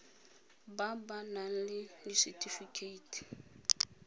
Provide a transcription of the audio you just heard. ba ba nang le disetifikeiti